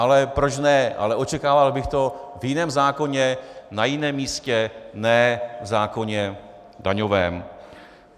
Ale proč ne, ale očekával bych to v jiném zákoně, na jiném místě, ne v zákoně daňovém.